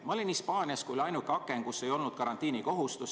Ma olin Hispaanias, kui oli ainuke aken, kus ei olnud karantiinikohustust.